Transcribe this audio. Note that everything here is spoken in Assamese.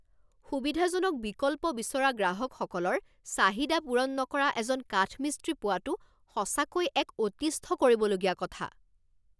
সুবিধাজনক বিকল্প বিচৰা গ্ৰাহকসকলৰ চাহিদা পূৰণ নকৰা এজন কাঠমিস্ত্ৰী পোৱাটো সঁচাকৈ এক অতিষ্ঠ কৰিবলগীয়া কথা।